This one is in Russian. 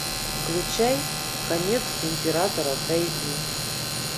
включай конец императора тайги